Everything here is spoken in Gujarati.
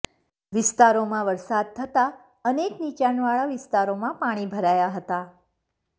વિસ્તારોમાં વરસાદ થતા અનેક નિચાણવાળા વિસ્તારોમાં પાણી ભરાયા હતા